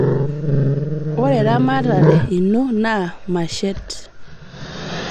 ore eramatare ino naa mashet